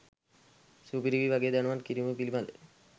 සු‍පි‍රි‍යි ‍ව‍ගේ ‍දැ‍නු‍වත්‍ ‍කි‍රී‍ම ‍පි‍ලි‍බ‍ද